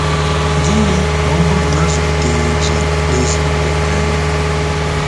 Gịnị ma ọ bụrụ na a zụliteghị gị nezinụlọ ịhụnanya?